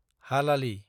हालालि